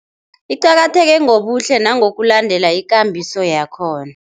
Iqakatheke ngobuhle nangokulandela ikambiso yakhona.